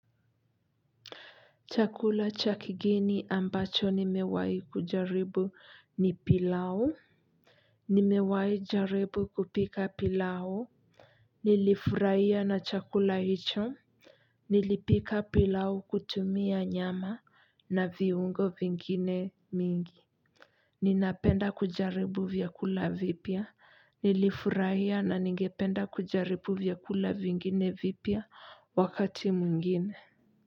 Chakula cha kigeni ambacho nimewai kujaribu ni pilau nimewai jaribu kupika pilau nilifurahia na chakula hicho. Nilipika pilao kutumia nyama na viungo vingine mingi ninapenda kujaribu vyakula vipya, nilifurahia na ningependa kujaribu vyakula vingine vipya wakati mwingine.